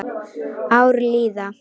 Ár líða.